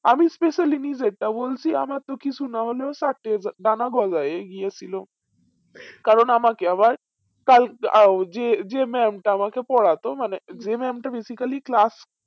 আমি specially নিজে টা বলছি আমার তো কিছু না হলেও ডানা গজায়ের গিয়েছিলো কারণ আমাকে আবার কাল আ ও যে যে mam টা আমাকে পড়াতো মানে যে mam টা basically class